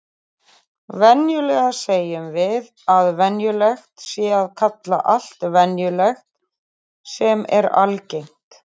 Venjulega segjum við að venjulegt sé að kalla allt venjulegt sem er algengt.